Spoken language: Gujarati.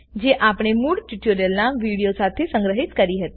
જે આપણે મૂળ ટ્યુટોરીયલના વિડીઓ સાથે સંગ્રહિત કરી હતી